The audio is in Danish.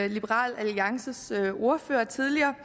liberal alliances ordfører tidligere